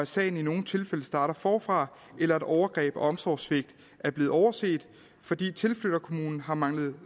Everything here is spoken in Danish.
sagen i nogle tilfælde starter forfra eller at overgreb og omsorgssvigt er blevet overset fordi tilflytterkommunen har manglet